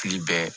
Fili bɛɛ